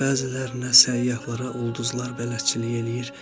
Bəzilərinə səyyahlara ulduzlar bələdçilik eləyir.